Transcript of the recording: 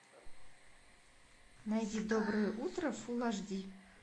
найди доброе утро фул аш ди